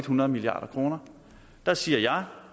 hundrede milliard kroner der siger jeg